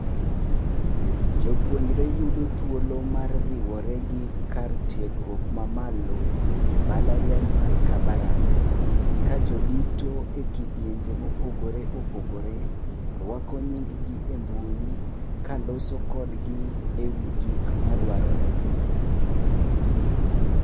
Jopuonjre yudo thuolo mar riwore gi kar tiegruok mamalo embalariany mar Kabarak. Kajodito ekidienje mopogore opogore, ruako nying gi embui ,kaloso kodgi ewi gik madwarore.